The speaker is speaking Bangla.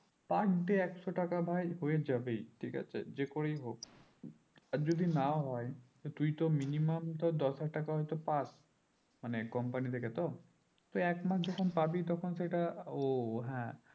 per day একশো টাকা ভাই হয় যাবেই ঠিক আছে যে করেই হোক আর যদি না হয় তুই তো minimum তো দশ হাজার টাকা হয় তো পাস্ মানে company থেকে তো তো এক মাস যখন পাবি তখন সেইটা ও ও হ্যাঁ